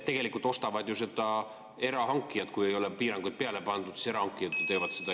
Tegelikult ostavad ju seda erahankijad, kui ei ole piiranguid peale pandud, siis hankijad teevad seda.